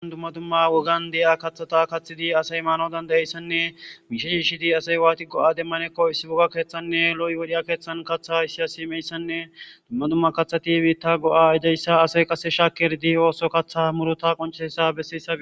Dumma dumma wogan deya kathata kathidi asay maano dandayeyssanne miishe hiishidi asay waati go,a demmanekko issi wogga keeththanne loy wodiya keeththan katha issiya simeyssanne dumma dumma kathati biitta go,a idayssa asay qasse shaakerdi ooso kaththa murota qoncheesa bessissai.